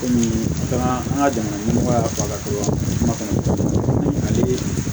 Komi an ka jamana ɲɛmɔgɔ y'a fɔ a ka to wa kuma ani